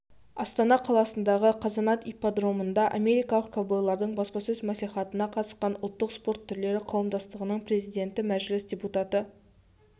астана қаласындағы қазанат ипподромында америкалық ковбойлардың баспасөз мәслихатына қатысқан ұлттық спорт түрлері қауымдастығының президенті мәжіліс депутаты